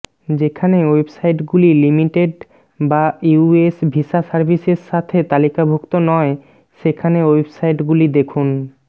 যেখানে ওয়েবসাইটগুলি লিমিটেড বা ইউএস ভিসা সার্ভিসেসের সাথে তালিকাভুক্ত নয় সেখানে ওয়েবসাইটগুলি দেখুন